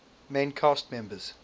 main cast members